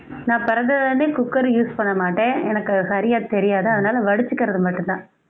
நான் பிறந்ததிலிருந்தே cooker use பண்ண மாட்டேன் எனக்கு அது சரியா தெரியாது அதனால வடிச்சிக்கிறது மட்டும்தான்